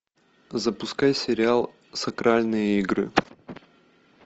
запускай сериал сакральные игры